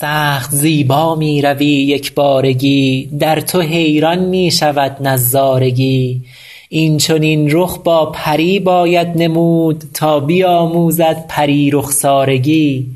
سخت زیبا می روی یک بارگی در تو حیران می شود نظارگی این چنین رخ با پری باید نمود تا بیاموزد پری رخسارگی